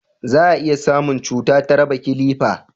za a iya samun cuta ta raba kilifa